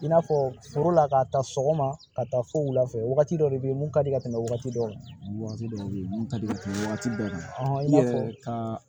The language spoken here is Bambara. I n'a fɔ forola ka taa sɔgɔma ka taa fo wulafɛ wagati dɔ de bɛ ye mun ka di ka tɛmɛ waati dɔ waati dɔw bɛ yen mun ka di ka tɛmɛ waati bɛɛ i n'a fɔ ka